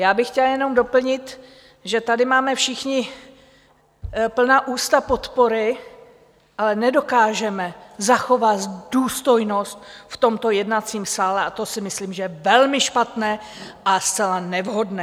Já bych chtěla jenom doplnit, že tady máme všichni plná ústa podpory, ale nedokážeme zachovat důstojnost v tomto jednacím sále, a to si myslím, že je velmi špatné a zcela nevhodné.